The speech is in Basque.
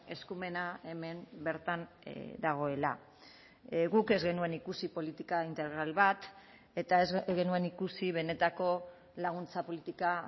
eskumena hemen bertan dagoela guk ez genuen ikusi politika integral bat eta ez genuen ikusi benetako laguntza politika